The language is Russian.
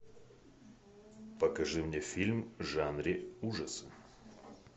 покажи мне фильм в жанре ужасов